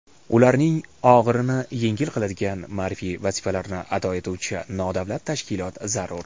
ularning og‘irini yengil qiladigan ma’rifiy vazifalarni ado etuvchi nodavlat tashkilot zarur.